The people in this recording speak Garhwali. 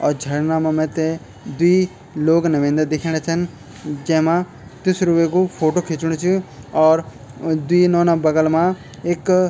और झरना मा मैतै द्वि लोग नवेंदा दिखेंणा छन जैमा तिसरू वेकु फोटु खिचणु च और द्वि नोना बगल मा ऐक --